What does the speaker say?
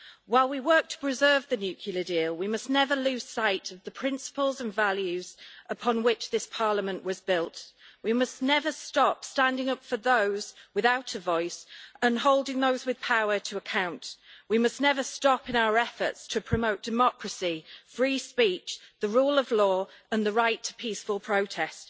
While we work to preserve the nuclear deal, we must never lose sight of the principles and values upon which this Parliament was built. We must never stop standing up for those without a voice and holding those with power to account. We must never stop in our efforts to promote democracy, free speech, the rule of law and the right to peaceful protest.